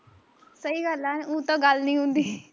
ਸਹੀ ਗੱਲ ਆ ਊ ਤਾਂ ਗੱਲ ਨੀ ਹੁੰਦੀ